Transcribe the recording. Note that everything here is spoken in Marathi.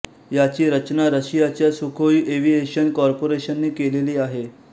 याची रचना रशियाच्या सुखोई एव्हिएशन कॉर्पोरेशनने केलेली आहे